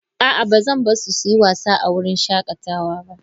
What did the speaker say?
A'a, ba zan bar su su yi wasa a wurin shakatawa ba.